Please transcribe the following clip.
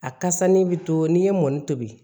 A kasa ni bi to n'i ye mɔni tobi